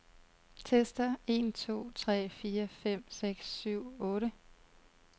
Tester en to tre fire fem seks syv otte.